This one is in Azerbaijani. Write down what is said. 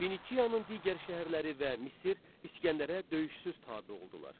Finikiyanın digər şəhərləri və Misr İsgəndərə döyüşsüz tabe oldular.